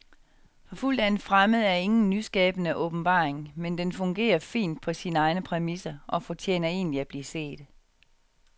Forfulgt af en fremmed er ingen nyskabende åbenbaring, men den fungerer fint på sine egne præmisser og fortjener egentlig at blive set.